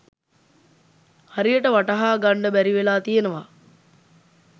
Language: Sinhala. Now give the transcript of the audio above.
හරියට වටහා ගන්ඩ බැරිවෙලා තියනවා.